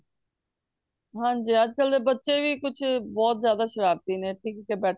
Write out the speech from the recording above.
ਹਨਜੀ ਅੱਜ ਕੱਲ ਦੇ ਬੱਚੇ ਕੁਛ ਬਹੁਤ ਜ਼ਿਆਦਾ ਸ਼ਰਾਰਤੀ ਨੇ